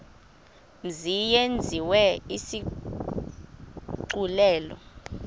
mzi yenziwe isigculelo